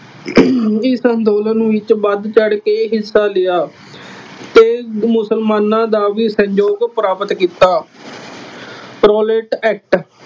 ਇਸ ਅੰਦੋਲਨ ਨੂੰ ਵਿੱਚ ਵੱਧ ਚੜ੍ਹ ਕੇ ਹਿੱਸਾ ਲਿਆ ਅਤੇ ਮੁਸਲਮਾਨਾਂ ਦਾ ਵੀ ਸਹਿਯੋਗ ਪ੍ਰਾਪਤ ਕੀਤਾ। Rowlatt act